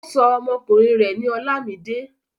Ó sọ ọmọkùnrin rẹ̀ ní Olamide.